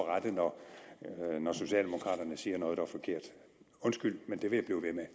at rette når socialdemokraterne siger noget der er forkert undskyld men det vil